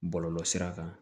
Bɔlɔlɔsira kan